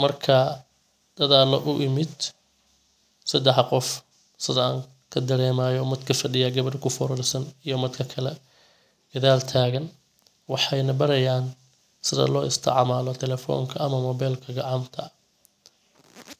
Marka dada u imid sadex qof sidan kadaremayo midka fadhiyo gabadha ku furorsan iyo midka kale gadaal taagan waxayna barayan sida lo isticmaalo telefonka ama mobelka gacanta.